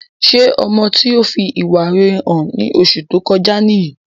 Ṣé ọmọ tí ó fi ìwà rere hàn ní oṣù tó kọjá niyi?